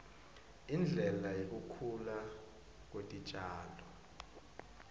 indlela yekukhula kwetitjalo